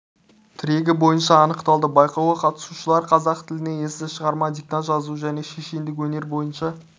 тірегі бойынша анықталды байқауға қатысушылар қазақ тілінде эссе шығарма диктант жазу және шешендік өнер бойынша